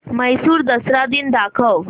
म्हैसूर दसरा दिन दाखव